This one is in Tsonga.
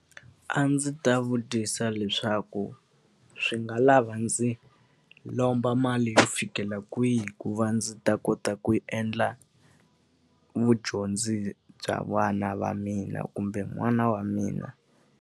A ndzi ta vutisa leswaku swi nga lava ndzi lomba mali yo fikela kwihi ku va ndzi ta kota ku endla vudyondzi bya vana va mina kumbe n'wana wa mina?